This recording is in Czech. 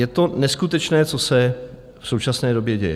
Je to neskutečné, co se v současné době děje.